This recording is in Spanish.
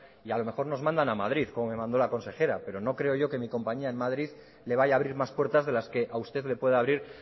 y a lo mejor nos mandan a madrid como me mandó la consejera pero no creo yo que mi compañía en madrid le vaya a abrir más puertas de las que a usted le pueda abrir